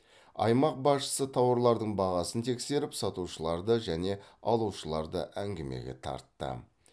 аймақ басшысы тауарлардың бағасын тексеріп сатушыларды және алушыларды әңгімеге тартты